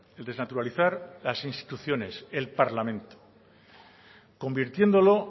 el desnaturalizar las instituciones el parlamento convirtiéndolo